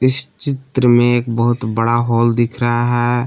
इस चित्र में एक बहुत बड़ा हॉल दिख रहा है।